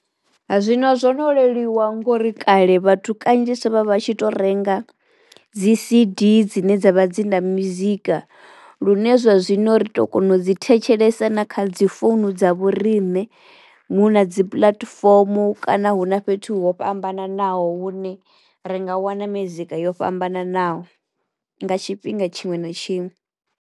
Hai zwino zwo no leluwa ngori kale vhathu kanzhisa vha vha tshi to renga dzi C_D dzine dza vha dzi na mizika lune zwa zwino ri to kono u dzi thetshelesa na kha dzi founu dza vhoriṋe. Hu na dzi puḽatifomo kana hu na fhethu ho fhambananaho hune ri nga wana mizika yo fhambananaho nga tshifhinga tshiṅwe na tshiṅwe.